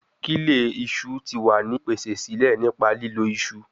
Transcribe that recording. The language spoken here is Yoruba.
Kile iṣu ti wa ni pese sile nipa lilo iṣu